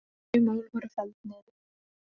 Þau mál voru felld niður